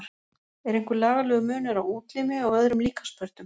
Er einhver lagalegur munur á útlimi og öðrum líkamspörtum?